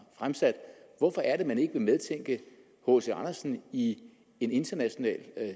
fremsat hvorfor er det at man ikke vil medtænke hc andersen i en international